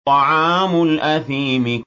طَعَامُ الْأَثِيمِ